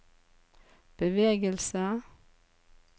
bevegelse